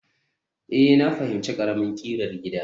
Ee, na fahimci ƙaramin ƙirar gida